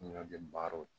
Ɲɔ gɛn baaraw